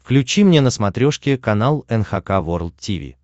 включи мне на смотрешке канал эн эйч кей волд ти ви